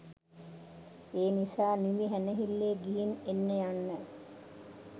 ඒනිසා නිවිහැනහිල්ලේ ගිහිං එන්න යන්න.